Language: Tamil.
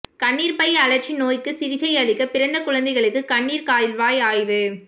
கண்ணீர்ப்பையழற்சி நோய்க்கு சிகிச்சை அளிக்க பிறந்த குழந்தைகளுக்கு கண்ணீர் கால்வாய் ஆய்வு